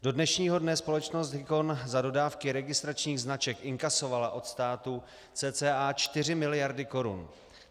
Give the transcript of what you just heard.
Do dnešního dne společnost Hicon za dodávky registračních značek inkasovala od státu cca 4 miliardy korun.